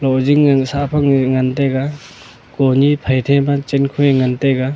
ojing ang sah ma h jao ngan taiga one thai thai pe chai ngan taga.